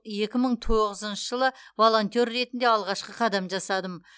екі мың тоғызыншы жылы волонтер ретінде алғашқы қадам жасадым